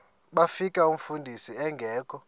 bafika umfundisi engekho